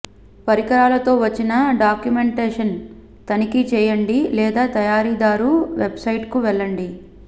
పరికరాలతో వచ్చిన డాక్యుమెంటేషన్ తనిఖీ చేయండి లేదా తయారీదారు వెబ్సైట్కు వెళ్ళండి